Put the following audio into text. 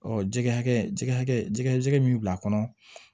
jɛgɛ hakɛ jɛgɛ jɛgɛ min bila kɔnɔ